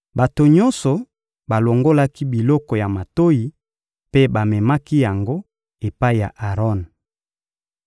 Bato nyonso balongolaki biloko ya matoyi mpe bamemaki yango epai ya Aron.